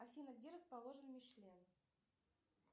афина где расположен мишлен